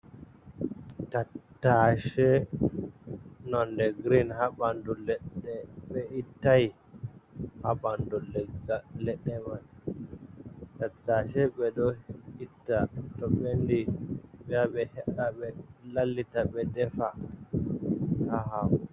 tattace nonde girin haa bandu leɗe ɓe ittai haa bandu legal leɗɗe mai. Tattace ɓe ɗo itta to ɓendi ɓe ya ɓe he'a be lallita ɓe defa haa hako.